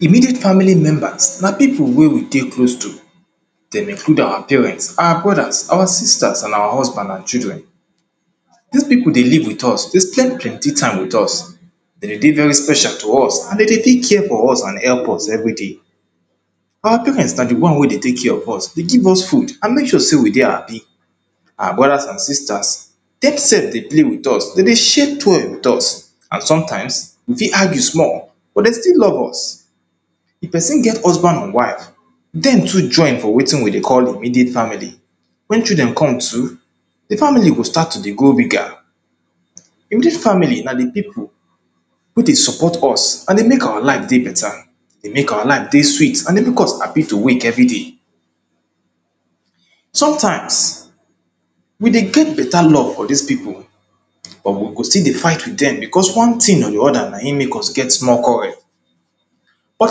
immediate family members na pipu wey we de close to. dem include our parents, our brodas, our sisters and our husbands and children. dis pipu dey live with us, dey spend plenty time with us. dem de dey very special to us and de dey take care for us and help us everyday. our parents na de one wey dey take care of us, dey give us food and make sure say we dey happy. our brodas and sisters dem sef dey play with us, dem dey share toy with us and sometimes we fit argue small but dem still love us if person get husband and wife dem too join for wetin we dey call immediate family. when children come too de family go start to de grow bigger in dis family na de pipu who dey support us and dey make our life dey better dey make our life dey sweet and dey make us happy to wake everyday. sometimes we de get beta love for dis pipu or we go still dey fight with them because one tin or de other na him make us get small quarell but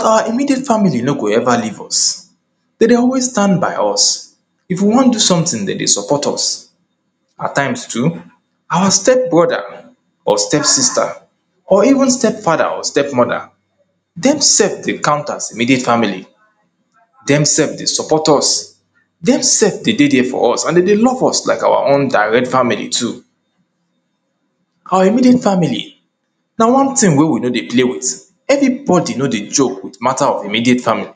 our immediate family no go ever leave us. dem dey always stand by us. If we wan do something, dem fit support us. at times too, our stepbrother or stepsister or even stepfather or stepmother dem de sef dey count as immediate family. dem sef dey support us dem sef de dey dia for us and dey dey look us like our own direct family too. our immediate family na one tin wey we no dey play with everybody no dey joke with matter of immediate family.